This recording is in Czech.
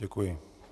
Děkuji.